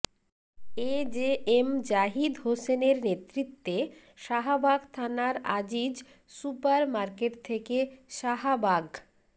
এ জে এম জাহিদ হোসেনের নেতৃত্বে শাহাবাগ থানার আজিজ সুপার মার্কেট থেকে শাহাবাগ